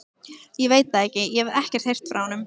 Ég veit það ekki, ég hef ekkert heyrt frá honum.